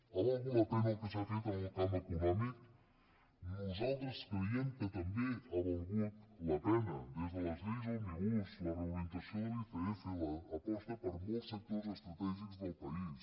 ha valgut la pena el que s’ha fet en el camp econòmic nosaltres creiem que també ha valgut la pena des de les lleis òmnibus la reorientació de l’icf l’aposta per molts sectors estratègics del país